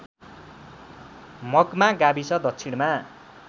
मग्मा गाविस दक्षिणमा